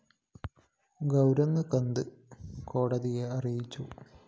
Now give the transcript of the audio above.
ഗൗരങ് കാന്ത് കോടതിയെ അറിയിച്ചു